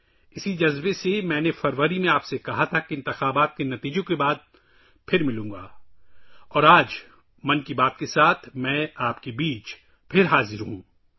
اسی جذبے کے تحت میں نے فروری میں آپ سے کہا تھا کہ میں انتخابی نتائج کے بعد آپ سے دوبارہ ملوں گا اور آج ‘من کی بات’ کے ساتھ میں آپ کے درمیان ایک بار پھر حاضر ہوں